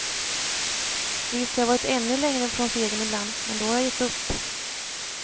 Visst har jag varit ännu längre från segern ibland, men då har jag gett upp.